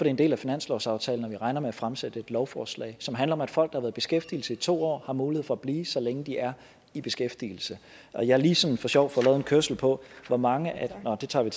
en del af finanslovsaftalen og vi regner med at fremsætte et lovforslag som handler om at folk der i beskæftigelse i to år har mulighed for at blive så længe de er i beskæftigelse og jeg har lige sådan for sjov fået lavet en kørsel på hvor mange af nå det tager